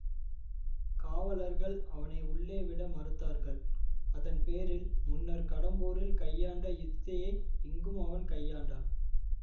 காவலர்கள் அவனை உள்ளே விட மறுத்தார்கள் அதன் பேரில் முன்னர் கடம்பூரில் கையாண்ட யுக்தியை இங்கும் அவன் கையாண்டான்